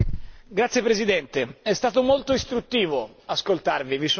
Signor Presidente, è stato molto istruttivo ascoltarvi.